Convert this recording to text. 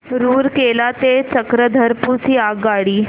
रूरकेला ते चक्रधरपुर ची आगगाडी